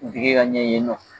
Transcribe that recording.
U ti kɛ ka ɲɛ yen nɔ